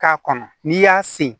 K'a kɔnɔ n'i y'a sen